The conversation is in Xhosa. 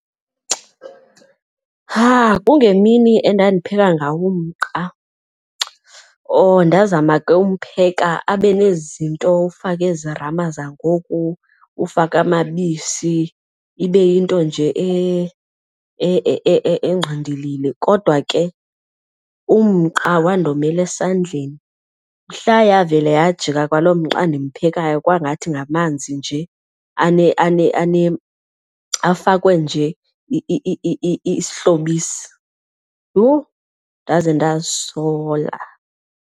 Kungemini endandipheka ngawo umqa. Oh, ndazama uwumpheka abe nezi zinto ufake ezi rama zangoku, ufake amabisi ibe yinto nje engqindilili kodwa ke umqa wandomela esandleni. Mhla yavela yajika kwalo mqa ndimphekayo kwangathi ngamanzi nje afakwe nje isihlobisi. Yhu, ndaze ndazisola!